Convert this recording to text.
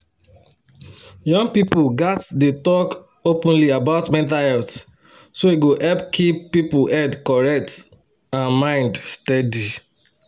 young people gats dey talk openly about mental health so e go help keep people head correct and mind steady.